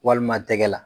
Walima tɛgɛ la